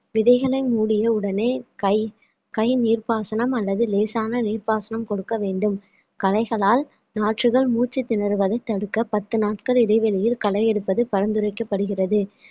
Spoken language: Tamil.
விதைகளை மூடிய உடனே கை கை நீர்ப்பாசனம் அல்லது லேசான நீர்ப்பாசனம் கொடுக்க வேண்டும் களைகளால் நாற்றுகள் மூச்சு திணறுவதை தடுக்க பத்து நாட்கள் இடைவெளியில் களை எடுப்பது பரிந்துரைக்கப்படுகிறது